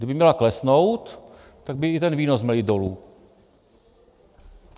Kdyby měla klesnout, tak by i ten výnos měl jít dolů.